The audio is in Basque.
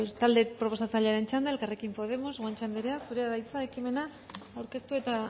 talde proposatzailearen txanda elkarrekin podemos guanche anderea zurea da hitza ekimena aurkeztu eta